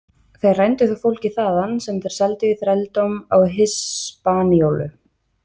Þeir rændu þó fólki þaðan sem þeir seldu í þrældóm á Hispaníólu.